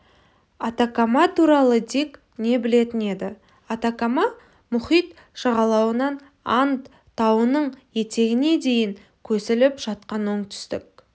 атакама туралы дик не білетін еді атакама мұхит жағалауынан анд тауының етегіне дейін көсіліп жатқан оңтүстік